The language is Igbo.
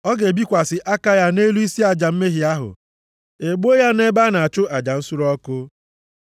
Ọ ga-ebikwasị aka ya nʼelu isi aja mmehie ahụ, e gbuo ya nʼebe a na-achụ aja nsure ọkụ.